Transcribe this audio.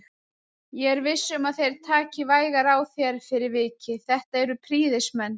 Ég er viss um að þeir taka vægar á þér fyrir vikið, þetta eru prýðismenn